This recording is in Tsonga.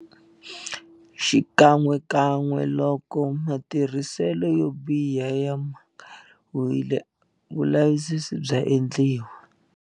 Xikan'wekan'we loko matirhiselo yo biha ya mangariwile, vulavisisi bya endliwa.